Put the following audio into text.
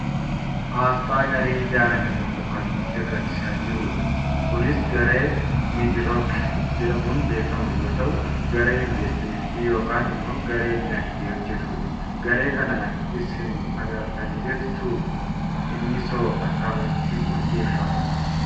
Aasxaa garee ijaarame tokkoo kan nutti agarsiisaa jirudha. Kunis garee MIDROC jedhamuun beekkamu yoo ta'u garee investimentiiti yookaan ammoo garee dinagdee hojjatudha. Garee kana isin agartanii beektuu? Innisoo akkamitti hundeeffama?